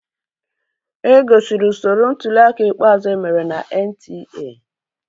E gosiri usoro ntuliaka ikpeazụ emere na NTA